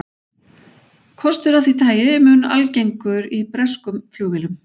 Kostur af því tagi mun algengur í breskum flugvélum.